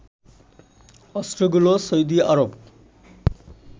অস্ত্রগুলো Saudi Arab